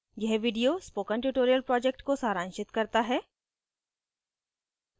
यह video spoken tutorial project को सारांशित करता है